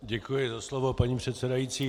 Děkuji za slovo, paní předsedající.